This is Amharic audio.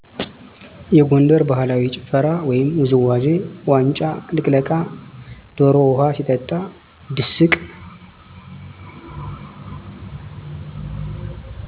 የጎንደር ባህላዊ ጭፈራ ወይም ውዝዋዜ ዋንጫ ልቅለቃ፣ ደሮ ውሃ ሲጠጣ፤ ድስቅ